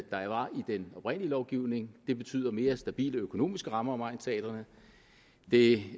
den oprindelige lovgivning det betyder mere stabile økonomiske rammer om egnsteatrene det